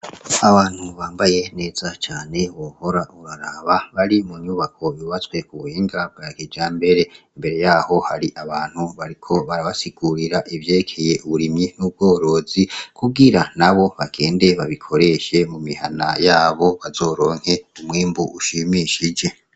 Abantu bambaye neza cane bohora uraraba bari mu nyubako bibatswe ku benga bwyakija mbere imbere yaho hari abantu bariko barabasikurira ivyekeye uburimyi n'ubworozi kuwira na bo bagende babikoreshe mu mihana yabo bazoronke umwembu ushimishije.